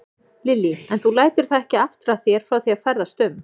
Lillý: En þú lætur það ekki aftra þér frá því að ferðast um?